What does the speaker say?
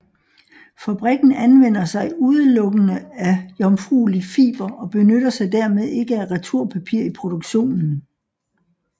Fabrikken anvender sig udelukkende af jomfrueligt fiber og benytter sig dermed ikke af returpapir i produktionen